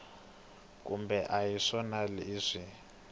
kumbe a hi swona ivi